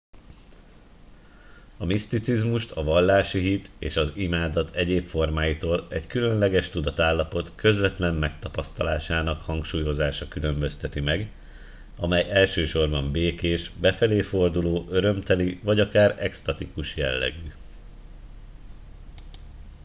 a miszticizmust a vallási hit és az imádat egyéb formáitól egy különleges tudatállapot közvetlen megtapasztalásának hangsúlyozása különbözteti meg amely elsősorban békés befelé forduló örömteli vagy akár eksztatikus jellegű